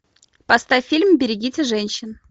поставь фильм берегите женщин